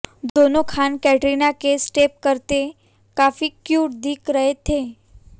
दोनों खान कैटरीना के स्टेप करते काफी क्यूट दिख रहे थे